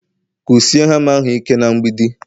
Kụsie hama ahụ ike na mgbidi